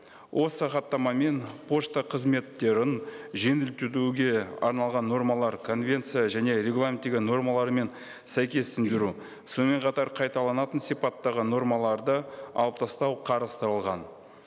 осы хаттамамен пошта қызметтерін жеңілдетуге арналған нормалар конвенция және регламенттегі нормаларымен сәйкестендіру сонымен қатар қайталанатын сипаттағы нормаларды алып тастау қарастырылған